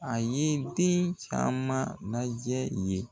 A ye den caman lajɛ ye.